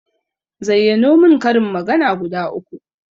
Zayyano mun karin magana guda uku